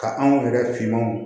Ka anw yɛrɛ finmanw